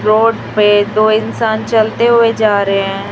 Road पे दो इंसान चलते हुए जा रहे हैं।